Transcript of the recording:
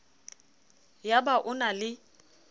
ya ba o na le